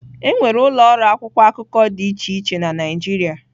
Enwere ụlọ ọrụ akwụkwọ akụkọ dị iche iche na Naịjirịa.